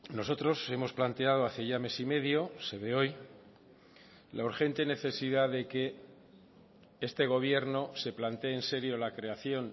nosotros hemos planteado hace ya mes y medio se ve hoy la urgente necesidad de que este gobierno se plantee en serio la creación